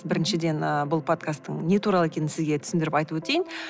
біріншіден ы бұл подкасттың не туралы екенін сізге түсіндіріп айтып өтейін